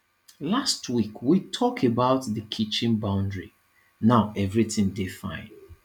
last week we tok about di kitchen boundary now everytin dey fine